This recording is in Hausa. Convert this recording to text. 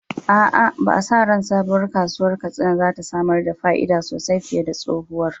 A’a, ba a sa ran sabuwar kasuwar Katsina za ta samar da fa’ida sosai fiye da tsohuwar.